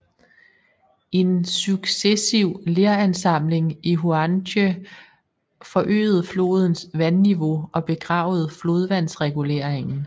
En successiv leransamling i Huanghe forøgede flodens vandniveau og begravede flodvandsreguleringen